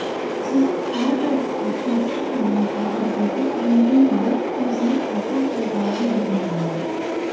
сөйтіп әрбір аптасын яғни әрбір бетін белгілі бір өзінің айтқан қағидаларының біріне арнаған